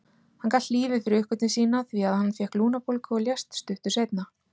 Hann galt lífið fyrir uppgötvun sína því að hann fékk lungnabólgu og lést stuttu seinna.